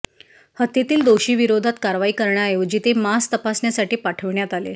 हत्येतील दोषींविरोधात कारवाई करण्याऐवजी ते मांस तपासण्यासाठी पाठविण्यात आले